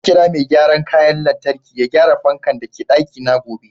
Zan kira Mai gyaran kayan lantarki ya gyara fanka da ke daki na gobe.